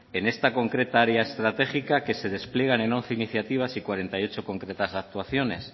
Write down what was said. en esta concreta área estratégica que se despliegan en once iniciativas y cuarenta y ocho concretas actuaciones